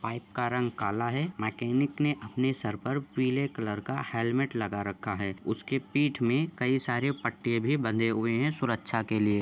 Pipe का रंग कला है मैकेनिक ने अपने सरपर पीले कलर का हेलमेट लगा रखा है उसकी पीठ में कई सारे पट्टे बधे हुए है सुरक्षा के लिए।